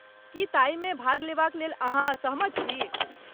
की ताहिमे भाग लेबाक लेल अहाँ सहमत छी?